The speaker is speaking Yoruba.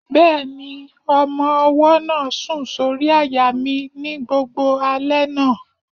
Bẹ́ẹ̀ni, ọmọ-ọwọ́ náà sùn sórí àyà mi ní gbogbo alẹ́ náà